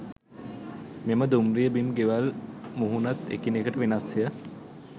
මෙම දුම්රිය බිම් ගෙවල් මුහුණත් එකිනෙකට වෙනස්ය.